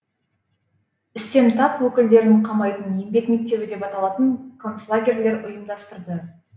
үстем тап өкілдерін қамайтын еңбек мектебі деп аталатын концлагерьлер ұйымдастырды